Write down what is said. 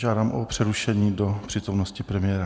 Žádám o přerušení do přítomnosti premiéra.